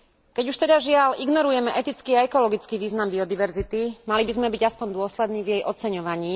Keď už teda, žiaľ, ignorujeme etický a ekologický význam biodiverzity, mali by sme byť aspoň dôslední v jej oceňovaní.